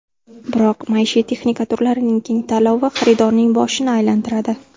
Biroq maishiy texnika turlarining keng tanlovi xaridorning boshini aylantiradi.